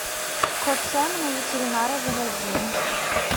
кот саймон у ветеринара заводи